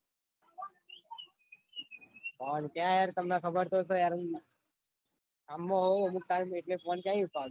phone ક્યાં હે યાર તમને ખબર તો સ યાર કામ માં હોઉં એટલે phone ક્યાંહિ ઉપાડું?